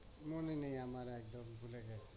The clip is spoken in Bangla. মনে নেই আমার একদম ভুলে গেছি